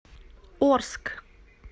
орск